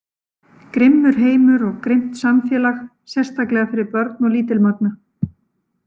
Grimmur heimur og grimmt samfélag, sérstaklega fyrir börn og lítilmagna.